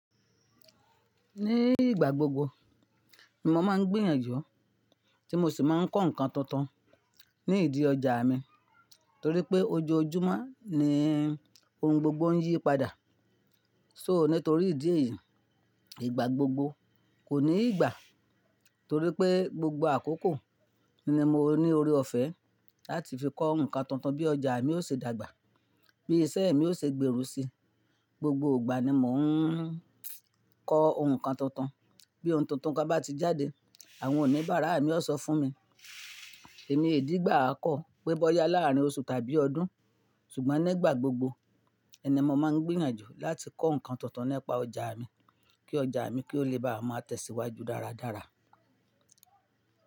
Ní ìgbà gbogbo mo máa ń gbìyànjú tí mo sì máa ń kọ́ nǹkan tuntun ní ìdí ọjà mi torí pé ojoojúmọ́ ni oun gbogbo ń yí padà. So nítorí ìdí èyí, ìgbà gbogbo kò ní ìgbà torí pé gbogbo àkókò ni mo ní ore ọ̀fẹ́ láti fi kọ́ nǹkan tuntun bí ọjà mi ó ṣe dàgbà, bí iṣẹ́ mi ó ṣe gbèrú si. Gbogbo ìgbà ni mò ń kọ oun kan tuntun. Bí oun tuntun kan bá ti jáde, àwọn oníbàárà mi ó sọ fún mi. Èmi ìdígbà á kọ̀ pé bọ́yá láàárín oṣù tàbí ọdún, ṣùgbọ́n nígbà gbogbo ẹ ni mó máa ń gbìyànjú láti kọ́ nǹkan tuntun nípa ọjà mi kí ọjà mi kí ó lè bá máa tẹ̀síwájú dáradára.